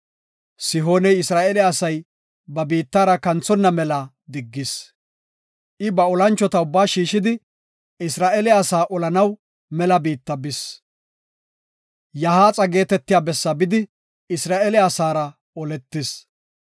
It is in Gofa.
Sihooney Isra7eele asay ba biittara kanthonna mela diggis. I ba olanchota ubbaa shiishidi, Isra7eele asaa olanaw mela biitta bis; Yahaaxa geetetiya bessaa bidi Isra7eele asaara oletis.